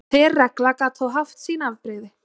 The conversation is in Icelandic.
Hver regla gat þó haft sín afbrigði.